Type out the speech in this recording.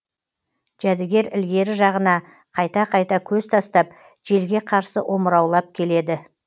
жәдігер ілгері жағына қайта қайта көз тастап желге қарсы омыраулап келеді